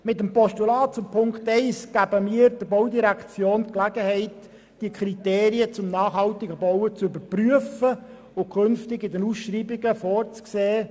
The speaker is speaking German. Mit Ziffer 1 des Postulats geben wir der Baudirektion die Gelegenheit, die Kriterien zum nachhaltigen Bauen zu überprüfen und künftig in den Ausschreibungen vorzusehen.